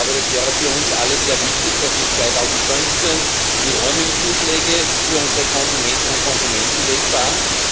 Ich glaube, das wäre für uns alle sehr wichtig, dass 2015 die Roamingzuschläge für unsere Konsumentinnen und Konsumenten wegfallen.